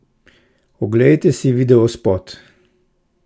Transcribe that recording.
Oglejte si videospot!